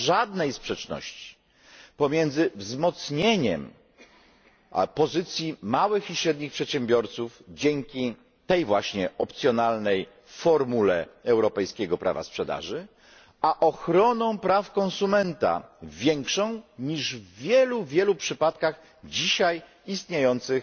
Nie ma żadnej sprzeczności pomiędzy wzmocnieniem pozycji małych i średnich przedsiębiorstw dzięki tej właśnie opcjonalnej formule europejskiego prawa sprzedaży, a ochroną praw konsumenta większą niż w wielu przypadkach dzisiaj istniejących